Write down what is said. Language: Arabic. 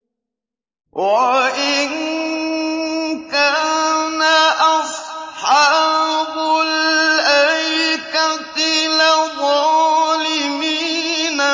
وَإِن كَانَ أَصْحَابُ الْأَيْكَةِ لَظَالِمِينَ